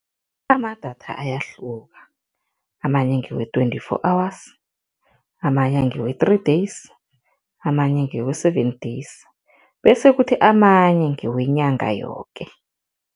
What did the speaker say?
Amadatha ayahluka, amanye ngewe-twenty-four hours, amanye ngewe-three days, amanye ngewe-seven days bese kuthi amanye ngewenyanga yoke.